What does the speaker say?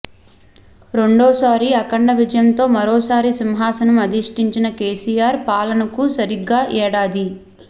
రెండోసారి అఖండ విజయంతో మరోసారి సింహాసనం అధీష్టించిన కేసీఆర్ పాలనకు సరిగ్గా ఏడాది